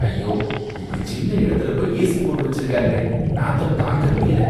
ஐயோ! இப்படி சின்ன இடத்துல போய் ஏஸி போட்டு வச்சுருக்காங்களே, நாத்தம் தாங்க முடியல